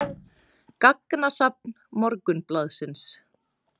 Gagnasafn Morgunblaðsins.